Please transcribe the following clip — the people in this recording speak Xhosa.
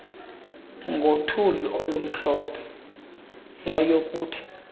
ngothuli olumhlophe yayokuthi